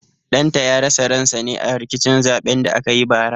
Ɗan ta ya rasa ran sa ne a rikicin zaɓen da aka yi bara